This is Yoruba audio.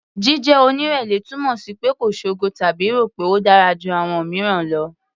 Jíjẹ́ onírẹ̀lẹ̀ túmọ̀ sí pé kò ṣogo tàbí rò pé a dára ju àwọn mìíràn lọ.